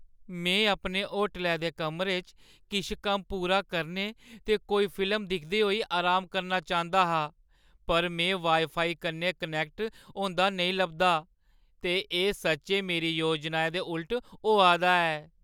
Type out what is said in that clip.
में अपने होटलै दे कमरे च किश कम्म पूरा करने ते कोई फिल्म दिखदे होई अराम करना चांह्‌दा हा, पर में वाईफाई कन्नै कनैक्ट होंदा नेईं लभदा, ते एह् सच्चैं मेरी योजनाएं दे उल्ट होआ दा ऐ।